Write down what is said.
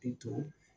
I to